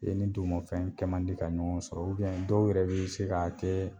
I ye min d'u ma o fɛnɛ kɛ mandi ka ɲɔgɔn sɔrɔ ubɛn dɔw yɛrɛ be se k'a kɛ